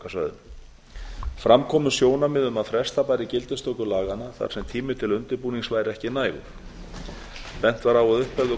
höfuðborgarsvæðinu fram komu sjónarmið um að fresta bæri gildistöku laganna þar sem tími til undirbúnings væri ekki nægur bent var á að upp hefðu